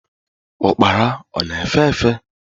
Ukpara ọ na-efe efe?